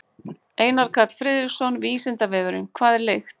Einar Karl Friðriksson: Vísindavefurinn: Hvað er lykt?